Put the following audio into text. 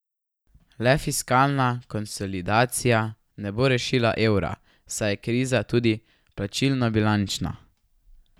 Le fiskalna konsolidacija ne bo rešila evra, saj je kriza tudi plačilnobilančna.